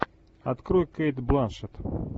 открой кейт бланшетт